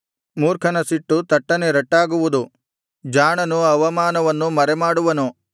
ಮೂರ್ಖನ ಸಿಟ್ಟು ತಟ್ಟನೆ ರಟ್ಟಾಗುವುದು ಜಾಣನು ಅವಮಾನವನ್ನು ಮರೆಮಾಡುವನು